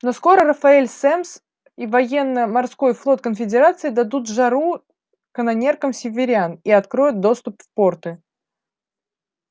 но скоро рафаэль семмс и военно-морской флот конфедерации дадут жару канонеркам северян и откроют доступ в порты